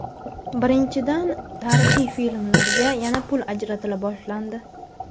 Birinchidan , tarixiy filmlarga yana pul ajratila boshlandi.